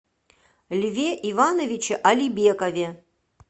льве ивановиче алибекове